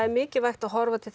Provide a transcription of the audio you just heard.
mikilvægt að horfa til